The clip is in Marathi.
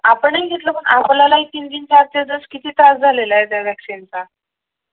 आपणही घेतलं आपल्यालाही तीन तीन चार चार दिवस किती त्रास झालेला त्या वैक्सीन चा